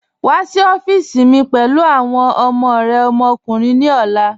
Wa sí ọ̀fíìsí mi pẹ̀lú awọn ọmọ rẹ ọmọkùnrin ni ọlá